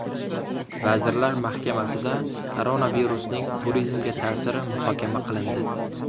Vazirlar Mahkamasida koronavirusning turizmga ta’siri muhokama qilindi.